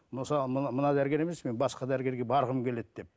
мысалы мына мына дәрігер емес мен басқа дәрігерге барғым келеді деп